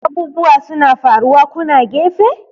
abubuwa suna faruwa kuna gefe!